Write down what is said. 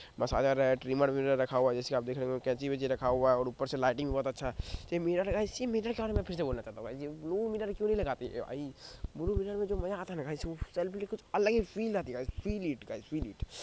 बस ट्रीमर विमर रखा हुआ है जैसा की आप देख रहे हैं कैची वैचि रखा हुआ है और ऊपर से लाइटिंग बहुत अच्छा ये मिरर है ऐसे मिरर के बारे में मैं फिर से बोलना चाहता हूँ गायस ये ब्लू मिरर क्यों नहीं लगाते भाई ब्लू मिरर में जो मजा आता है ना गायस कुछ अलग ही फील आती है guys feel it guys feel it